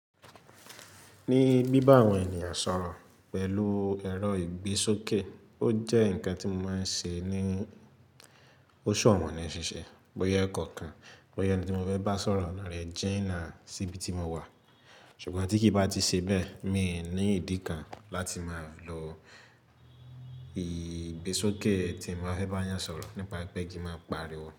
Ní bíbá àwọn ènìyàn sọ̀rọ̀ pẹ̀lú ẹ̀rọ ìgbésókè, ó jẹ́ ǹkan tí mo máa ń ṣe ní ó ṣọ̀wọ̀n ní ṣiṣẹ́. Bóyá ẹ̀kọ́ kan, bóyá ẹni tí mo fẹ́ bá sọ̀rọ̀ lọ̀rẹ ji nà síbi tí mo wà. Ṣùgbọ́n tí kí bá ti ṣe bẹ́ẹ̀, mi ò ní ìdí kan láti máa lo ìgbésókè tí n ba fẹ́ bá yàn sọ̀rọ̀ nípa pé kí máa pariwo.